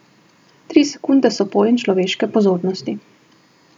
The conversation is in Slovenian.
Tri sekunde so pojem človeške pozornosti.